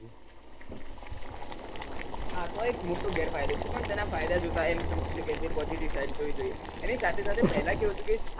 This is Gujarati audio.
આનો એક મોટો ગેરફાયદો છે તેના ફાયદા જોતા એમ સમજી શકાય છે કે positive side જોવી જોઈએ એની સાથે સાથે પેલાં એવું હતું કે